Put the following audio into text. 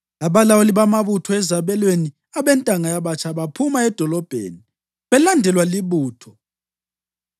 Abalawuli bamabutho ezabelweni abentanga yabatsha baphuma edolobheni belandelwa libutho